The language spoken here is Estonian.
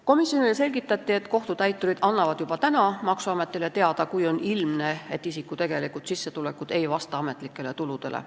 Komisjonile selgitati, et kohtutäiturid annavad juba praegu maksuametile teada, kui on ilmne, et isiku tegelikud sissetulekud ei vasta ametlikele tuludele.